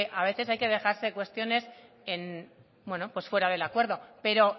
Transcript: a veces hay que dejarse cuestiones fuera del acuerdo pero